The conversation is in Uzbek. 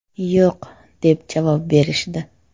‘Yo‘q’ deb javob berishdi.